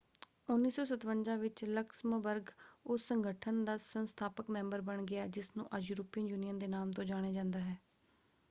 1957 ਵਿੱਚ ਲਕਸਮਬਰਗ ਉਸ ਸੰਗਠਨ ਦਾ ਸੰਸਥਾਪਕ ਮੈਂਬਰ ਬਣ ਗਿਆ ਜਿਸ ਨੂੰ ਅੱਜ ਯੂਰਪੀਅਨ ਯੂਨੀਅਨ ਦੇ ਨਾਮ ਤੋਂ ਜਾਣਿਆ ਜਾਂਦਾ ਹੈ।